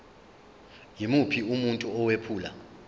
yimuphi umuntu owephula